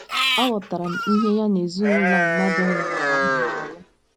Aghọtara m ihe ya na ezinụlọ a mmadụ nwụnahụrụ na - alụ.